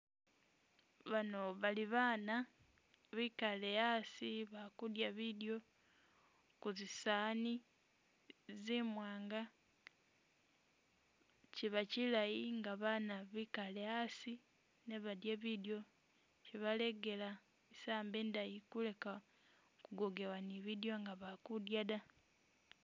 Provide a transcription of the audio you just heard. Bano bali baana bikale asi bali kudila bidyo ku zisaani zimwanga. Kiba kilayi nga baana bikale asi ne badye bidyo kibalegela isambo indayi kuleka kugogebwa ni bidyo nga bali kudya da.